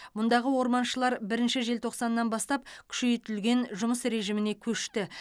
мұндағы орманшылар бірінші желтоқсаннан бастап күшейтілген жұмыс режиміне көшті